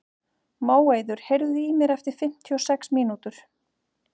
Móeiður, heyrðu í mér eftir fimmtíu og sex mínútur.